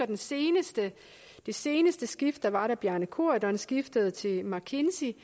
det seneste seneste skift der var da bjarne corydon skiftede til mckinsey